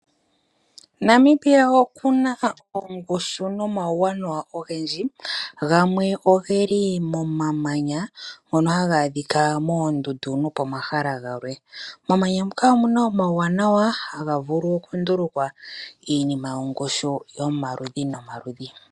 Namibia okuna ongushu nomawuwanawa ongendji , ngamwe ogeli momamanya ngono haga adhika mondundu nopamahala galwe. Momamanya muka omuna omawuwana ngoka haga vulu okundulukwa iinima yongushu yomaludhi nomaludhi.